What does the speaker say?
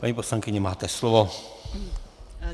Paní poslankyně, máte slovo.